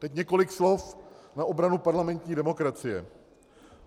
Teď několik slov na obranu parlamentní demokracie.